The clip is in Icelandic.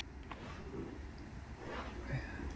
Þar voru viðbrögðin sömuleiðis jákvæð.